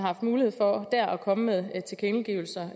haft mulighed for at komme med tilkendegivelser